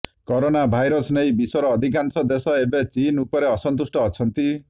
corona virus ନେଇ ବିଶ୍ୱର ଅଧିକାଂଶ ଦେଶ ଏବେ ଚୀନ ଉପରେ ଅସନ୍ତୁଷ୍ଟ ଅଛନ୍ତି